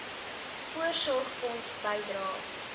voorsorgfonds bydrae